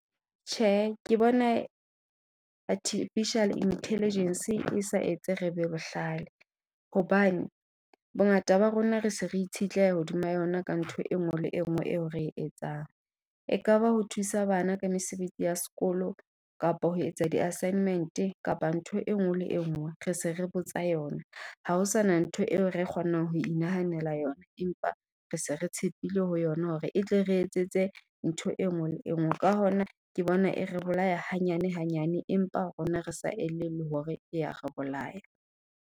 Tjhe ke bona artificial intelligence e sa etse re be bohlale. Hobane bongata ba rona re se re itshetleile hodima yona ka ntho e nngwe le e nngwe eo re etsang. Ekaba ho thusa bana ka mesebetsi ya sekolo kapa ho etsa di-assignment kapa ntho e nngwe le enngwe re se re botsa yona. Ha ho sana ntho eo re kgonang ho inahanela yona, empa re se re tshepile ho yona hore e tle re etsetse ntho e nngwe le engwe. Ka hona ke bona e re bolaya hanyane hanyane, empa rona re sa elellwe hore ya re bolaya.